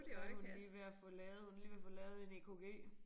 Der hun lige ved at få lavet hun er lige ved at få lavet en EKG